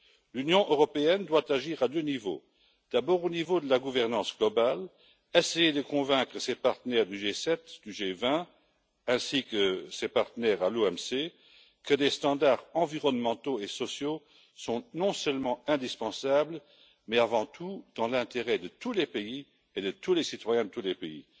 L'Union européenne doit agir à deux niveaux. D'abord, au niveau de la gouvernance mondiale, en essayant de convaincre ses partenaires du G7, du G20, ainsi que ses partenaires à l'OMC, que des normes environnementales et sociales sont non seulement indispensables, mais avant tout dans l'intérêt de tous les pays et de tous les citoyens de ces pays.